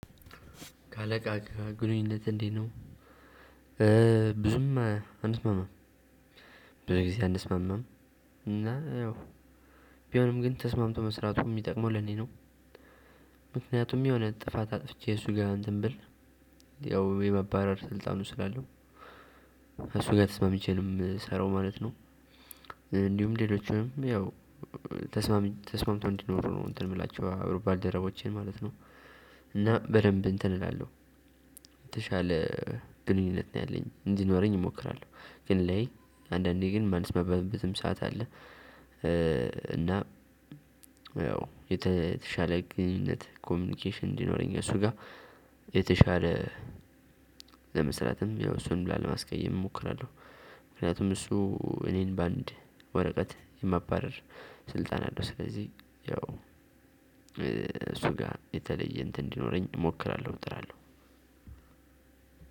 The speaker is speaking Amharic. ከአለቃህ ግንኙነትህ እንዴት ነው? ብዙም አንስማማም ብዙ ጊዜ አንስማማም። እና ያው ቢሆንም ግን ተስማምቶ መስራቱ እሚጠቅመው ለእኔ ነው። ምክንያቱም የሆነ ጥፋት አጥፍቼ እሱ ጋር እንትን ብል። ያው የማባረር ስልጣኑ ስላለው እሱ ጋ ተስማምቼ ነው እምሰራው ማለት ነው። እንዲሁም ሌሎቹንም ያው ተስማምቶ እንዲኖረ ነው እንትን እምላቸው አብረው ባልደረቦቼን ማለት ነው። እና በደንብ እንትን እላለሁ የተሻለ ግንኙነት ነው ያለኝ እንዲኖረኝ እሞክራለሁ። ግን ላይ አንዳንዴ ግን እማልስማማበብትም ሰዓት አለ። እና ያው የተሻለ ግንኙነት ኮሚኒኬሽን እንዲኖረኝ እሱ ጋ የተሻለ ለመስራትም ያው እሱንም ላለማስቀየም እሞክራለሁ። ምክንያቱም እሱ እኔን በአንድ ወረቀት የማባረር ስልጣን አለው። ስለዚህ ያው እሱ ጋ የተለየ እንትን እንዲኖረኝ እሞክራለሁ እጥራለሁ።